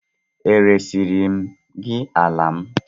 E resiri m gị ala m?